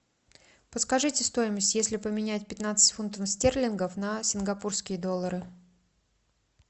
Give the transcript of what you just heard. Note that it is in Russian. подскажите стоимость если поменять пятнадцать фунтов стерлингов на сингапурские доллары